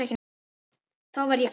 Þá verð ég glaður.